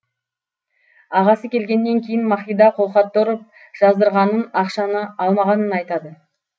ағасы келгеннен кейін махида қолхатты ұрып жаздырғанын ақшаны алмағанын айтады